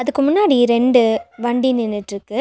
அதுக்கு முன்னாடி ரெண்டு வண்டி நின்னுட்ருக்கு.